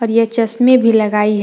यह चश्मे भी लगाई है।